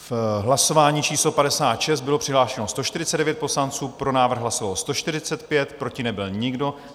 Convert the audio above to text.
V hlasování číslo 56 bylo přihlášeno 149 poslanců, pro návrh hlasovalo 145, proti nebyl nikdo.